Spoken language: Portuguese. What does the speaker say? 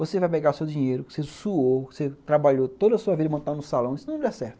Você vai pegar o seu dinheiro que você suou, que você trabalhou toda a sua vida e montou no salão, e se não der certo.